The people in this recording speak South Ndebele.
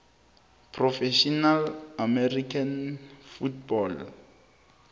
professional american football